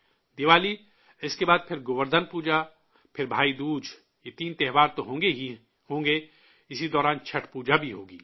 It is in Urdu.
دیوالی، اس کے بعد پھر گووردھن پوجا، پھر بھائی دوج، یہ تین تہوار تو ہوں گے ہی ہوں گے، اسی دوران چھٹھ پوجا بھی ہوگی